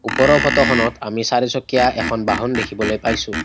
ওপৰৰ ফটো খনত আমি চাৰিচুকীয়া এখন বাহন দেখিবলৈ পাইছোঁ।